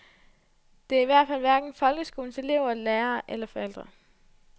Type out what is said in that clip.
Det er i hvert fald hverken folkeskolens elever, lærere eller forældre.